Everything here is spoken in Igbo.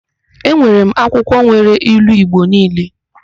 Enwere m akwụkwọ nwere ilu Igbo niile.